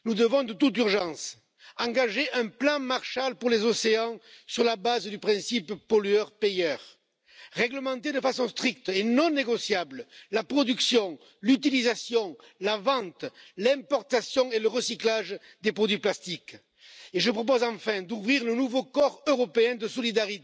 Señor presidente, la comunidad científica coincide en que el consumo de plásticos pone seriamente en peligro el medio ambiente, y seguramente ustedes lo habrán podido comprobar en verano. Podría ser que en las playas tengamos ya más plásticos que turistas.